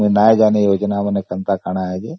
ଆଉ ଜାଣିନି କଣ ଯୋଜନା ସବୁ